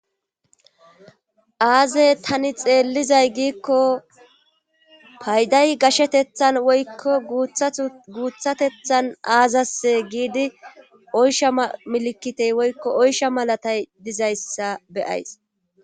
Aze tani xelizay giiko payiday gashetethan woyiko guthatethan azase gidi oyisha milikite oyisha malatayi dizayisa be'ays